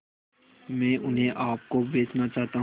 मैं उन्हें आप को बेचना चाहता हूं